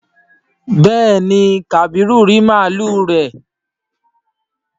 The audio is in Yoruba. béèni kabiru rí màlúù rẹ.